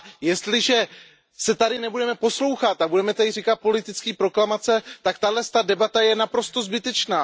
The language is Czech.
Jestliže se tady nebudeme poslouchat a budeme tady pronášet politické proklamace, tak tato debata je naprosto zbytečná.